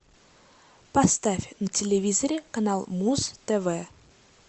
поставь на телевизоре канал муз тв